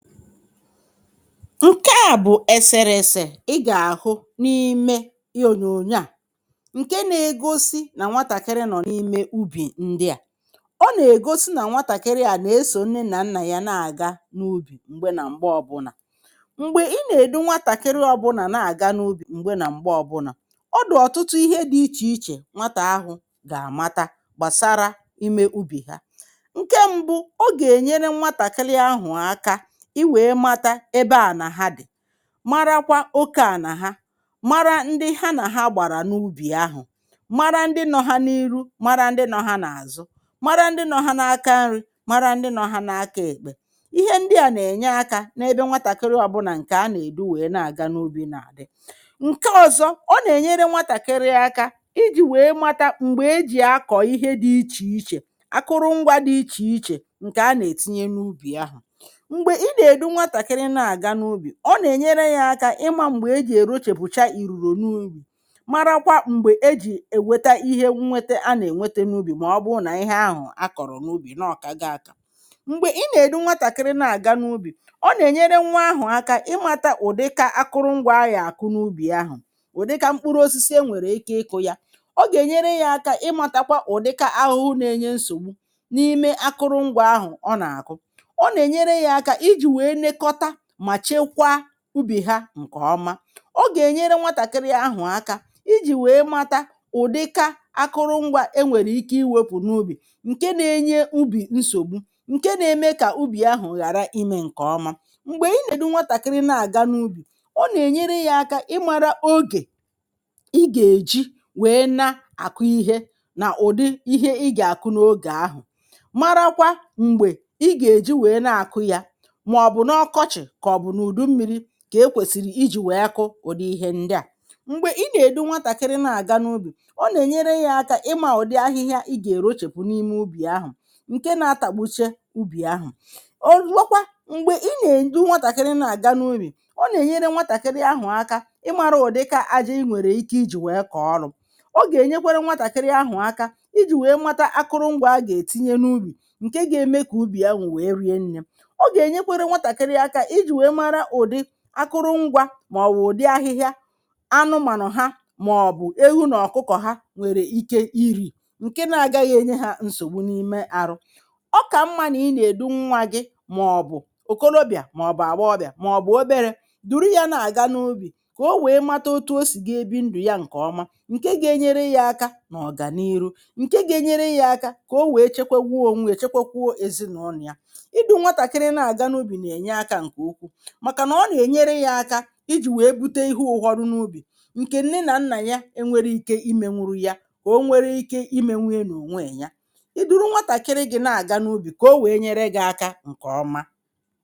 Nke a bụ́ onyonyo ị gà-ahụ n’ime eserese Ọ na-egosi nwatakịrị nọ n’ùbò̀ ubi na-esochi nne na nna ya na-aga n’ùbò̀ ubi. Mgbe ị dūru nwatakịrị n’ùbò̀ ubi ma ọ bụ mgbe niile ma ọ bụ ọbụna otu oge oge nwatakịrị ahụ̀ gà-amụta ọtụtụ ihe dị iche iche gbasara ọrụ ubi. Nke mbù nwa ahụ̀ gà-amata oke ala ezinụlọ ha ma mụta ịmata ndị agbataobi ha ndị nọ n’ihu ndị nọ n’azụ ndị nọ n’aka nri na ndị nọ n’aka ekpe. Ihe ndị a dị ezigbo mkpa ka nwatakịrị a dūru n’ùbò̀ ubi ghọta. Nke nke abua ọ na-enyere nwa ahụ̀ aka ịmata oge a na-akụ mkpụrụ dị iche iche n’ùbò̀ ubi ịmata oge e ji arụcha ọrụ ubi na oge e ji anakọta ihe ubi ma ọ bụ kụpụ̀ ihe ubi a kpọrọ n’ùbò̀ ubi were kpọrọ n’ụlọ. Mgbe ị dūru nwatakịrị n’ùbò̀ ubi ọ na-enyere nwa ahụ̀ aka ịmata ụdị ihe ubi a na-akụ n’ebe ahụ̀ ụdị mkpụrụ osisi a nwere ike ịkụ ma mụta ịmata ụdị ahụhụ na-enye ihe ubi nsogbu. Ọ na-enyekwara nwa ahụ̀ aka ịmata ụdị ahịhịa a ga-ewepụ n’ùbò̀ ubi ahịhịa na-enye nsogbu ma na-eme ka ihe ubi ghara ịrịọ mma. Mgbe ị dūru nwatakịrị n’ùbò̀ ubi ọ na-enyere nwa ahụ̀ aka ịmata oge ọrụ ubi kwesịrị ekwesị ụdị ihe ubi kwesịrị ekwesị maka oge ọ bụla na oge kwesịrị ekwesị e ji akụrụ ha. Ịdūru nwatakịrị n’ùbò̀ ubi na-enyekwa nwa ahụ̀ aka ịmata ụdị ahịhịa kwesịrị iwepụ ka ihe ubi nwee ike ito nke ọma. Ọ na-enyekwara nwa ahụ̀ aka ịghọta ụdị aja dị iche iche ma mata otú e si akwadebe ala maka ịkụ ihe ubi ma ọ bụ maka nri ezinụlọ ma ọ bụ maka akwụkwọ nri iji fee anụ ụlọ dịka ewu na ọkụkọ. Ịdūru nwatakịrị n’ùbò̀ ubi dị ezigbo mma n’ihi na ọ na-enyekwara nwa ahụ̀ aka ịmụta otú ọ ga-esi bie ndụ nke ọma um. Nke a gà-enyere nwa ahụ̀ aka ịga n’ihu n’ọ̀gụ̀gụ̀ ndụ ichebara ọdịnihu ezinụlọ echiche ma nyere aka n’ichepụta ihe ezinụlọ ga-eri site n’ùbò̀ ubi. Ya mere mgbe ị dūru nwa gị n’ùbò̀ ubi ọ gà-enyere gị na nwa ahụ̀ aka ma ọ bụ omume dị ezigbo mma.